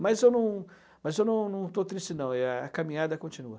Mas eu não, mas eu não não estou triste não, e a caminhada continua.